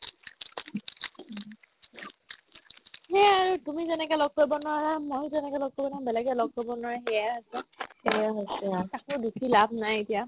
সেই আৰু তুমি যেনেকে লগ কৰিব নোৱাৰা মই যেনেকে লগ কৰিব নোৱাৰো বেলেগে লগ কৰিব নোৱাৰে সেয়াই আছে সেয়াই বস্তু আৰ্ কাকো দো লাভ নাই এতিয়া